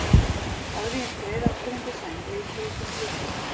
Áður en ég skreið aftur undir sæng leit ég út um gluggann.